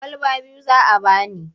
Kwalaba biyu za a ba ni.